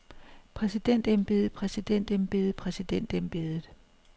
præsidentembedet præsidentembedet præsidentembedet